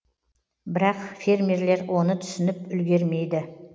бірақ фермерлер оны түсініп үлгермейді